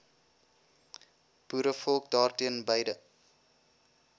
boerevolk daarteen beide